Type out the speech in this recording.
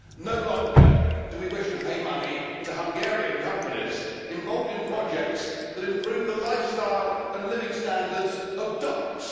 No longer do we wish to pay money to Hungarian companies involved in projects that improve the lifestyle and living standards of dogs.